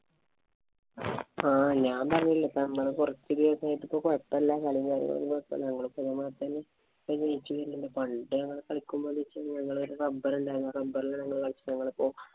ആഹ് ഞാന്‍ പറഞ്ഞില്ലേ ഇപ്പൊ നമ്മള് കൊറച്ചു പേര് ആയിട്ട് കൊഴപ്പമില്ല. കളീം കാര്യങ്ങളുമൊക്കെ പണ്ടേ ഞങ്ങള് കളിക്കുമ്പോ ഞങ്ങടെ ഒരു number ഉണ്ടാരുന്നു. number ഇല്‍ കളിച്ചപ്പോ ഞങ്ങളിപ്പോ